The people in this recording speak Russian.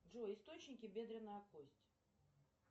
джой источники бедренная кость